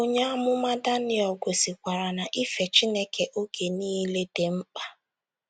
Onye amụma Daniel gosikwara na ife Chineke oge niile dị mkpa.